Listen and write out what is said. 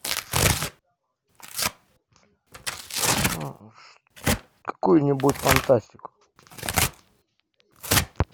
какую нибудь фантастику